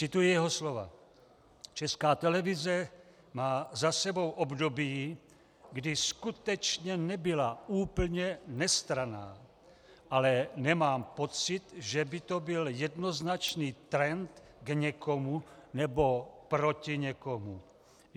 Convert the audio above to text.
Cituji jeho slova: Česká televize má za sebou období, kdy skutečně nebyla úplně nestranná, ale nemám pocit, že by to byl jednoznačný trend k někomu nebo proti někomu.